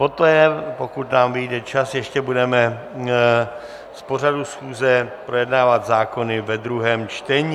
Poté, pokud nám vyjde čas, ještě budeme z pořadu schůze projednávat zákony ve druhém čtení.